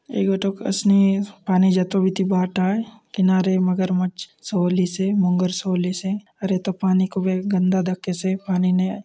ए गोटोक असनी पानी जातो बीती बाट आय किनारे मगरमच्छ सोअलिसे मगर सोअलिसे और ए तो पानी खूबे गन्दा दखेसे पानी ने --